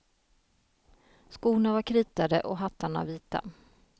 Skorna var kritade och hattarna vita.